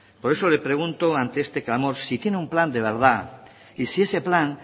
por eso le pregunto ante este clamor si tiene un plan de verdad y si ese plan